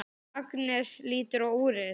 Agnes lítur á úrið.